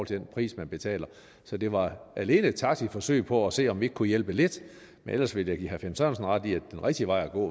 den pris man betaler så det var alene et taktisk forsøg på at se om vi ikke kunne hjælpe lidt men ellers vil jeg da give herre finn sørensen ret i at den rigtige vej at gå